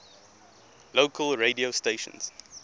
local radio stations